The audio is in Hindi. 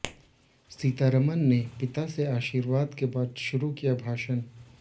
सीतारमण ने पिता से आशीर्वाद के बाद शुरू किया भाषण